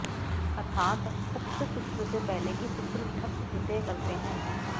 अथात् उक्त सूत्र से पहले के सूत्र ठक् प्रत्यय करते हैं